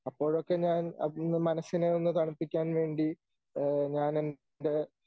അപ്പോഴൊക്കെ ഞാൻ ഒന്ന് മനസ്സിനെയെന്നു തണുപ്പിക്കാൻ വേണ്ടി ഏഹ് ഞാനെൻ്റെ